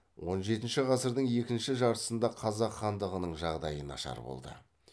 он жетінші ғасырдың екі жартысында қазақ хандығының жағдайы нашар болды